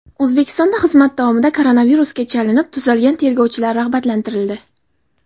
O‘zbekistonda xizmat davomida koronavirusga chalinib, tuzalgan tergovchilar rag‘batlantirildi.